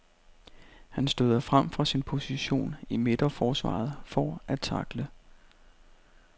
Han støder frem fra sin position i midterforsvaret for at tackle.